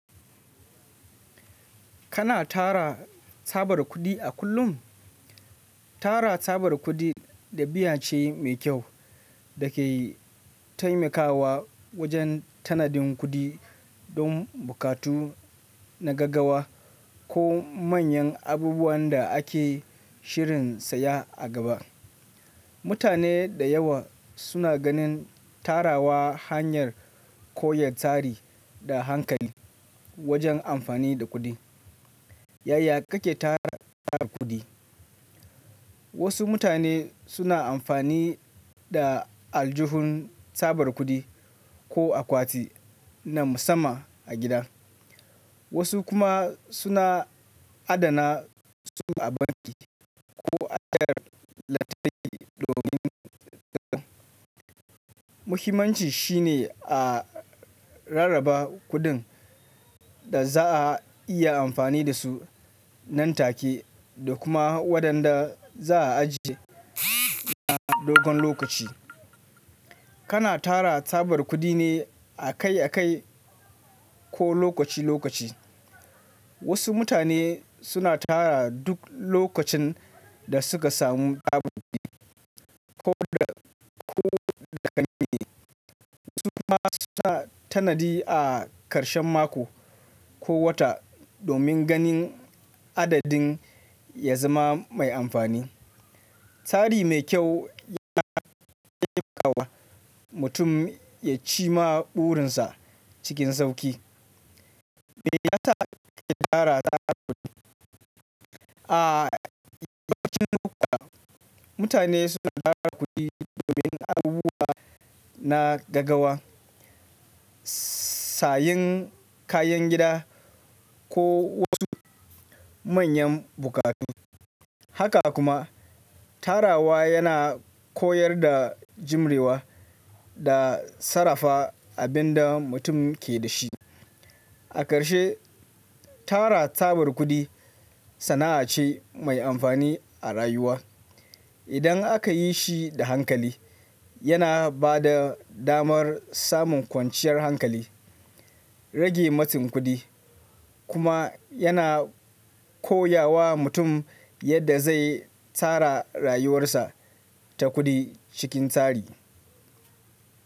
Kana tara tsabar kudi a kullum? Tara tsabar kudi ɗabi'a ce mai kyau da ke taimakawa wajen tanadin kudi don bukatu na gaggawa ko manyan abubuwan da ake shirin saya a gaba. Mutane da yawa suna ganin tarawa hanyar koya tari da hankali wajen amfani da kudi. Yaya kake tara tsabar kudi? Wasu mutane suna amfani da aljuhun tsabar kudi ko akwati na musamman a gida, wasu kuma suna adana su a banki ko a hanyar lantarki domin tsabta. Muhimmanci shi ne a rarraba kuɗin da za a iya amfani da su nan take da kuma waɗanda za a ajiye suna dogon lokaci. Kana tara tsabar kudi ne akai akai ko lokaci lokaci? Wasu mutane suna tara duk lokacin da suka samu koda, ko da gani ne, wasu kuma suna tanadi a karshen mako ko wata domin ganin adadin ya zama mai amfani. Tsari mai kyau yana taimakawa mutum ya cima burinsa cikin sauƙi. Me yasa kake tara tsabar kudi? A lokacin kuka, mutane suna tara kudi domin abubuwa na gaggawa, sayen kayan gida ko wasu manyan bukatu. Haka kuma, tarawa yana koyar da jimrewa da sarrafa abin da mutum ke da shi. A karshe, tara tsabar kudi sana'a ce mai amfani a rayuwa. Idan aka yi shi da hankali, yana ba da damar samun kwanciyar hankali, rage matsin kudi, kuma yana koya wa mutum yadda zai tsara rayuwarsa ta kudi cikin tsari.